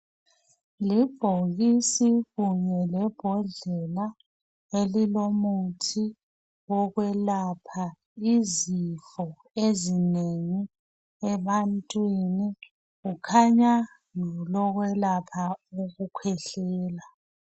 Libhokisi kunye lebhodlela elilomuthi wokwelapha izifo ezinengi ebantwini. Kukhanya ngelokwelapha ukukhwehlela.